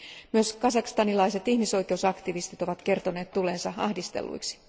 Myös kazakstanilaiset ihmisoikeusaktivistit ovat kertoneet tulleensa ahdistelluiksi.